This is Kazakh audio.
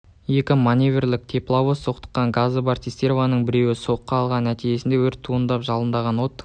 екі маневрлік тепловоз соқтығысқан ғазы бар цистернаның біреуі соққы алды нәтижесінде өрт туындап жалындаған от